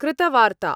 कृतवार्ता